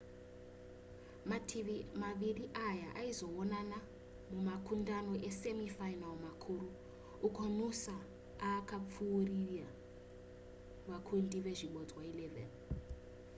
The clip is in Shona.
mativi maviri aya aizoonana mumakundano emasemi final makuru uko noosa akapfuurira vakundi nezvibodzwa 11